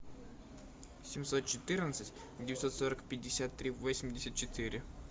семьсот четырнадцать девятьсот сорок пятьдесят три восемьдесят четыре